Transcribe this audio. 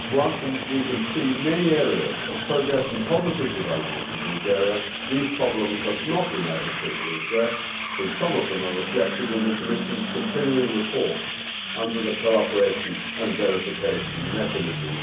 While we can see many areas of progress and positive development in Bulgaria, these problems have not been adequately addressed, and some of them are reflected in the Commission's continuing reports under the Cooperation and Verification Mechanism.